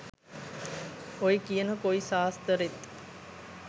ඔය කියන කොයි සාස්තරෙත්